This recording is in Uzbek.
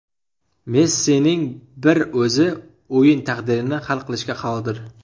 Messining bir o‘zi o‘yin taqdirini hal qilishga qodir.